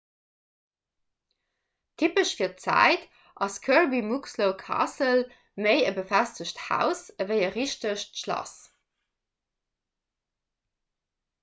typesch fir d'zäit ass kirby muxloe castle méi e befestegt haus ewéi e richtegt schlass